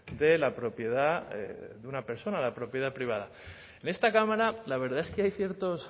de la propiedad de una persona a la propiedad privada en esta cámara la verdad es que hay ciertos